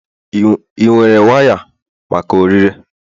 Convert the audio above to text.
ị nwere waya maka ọrịre?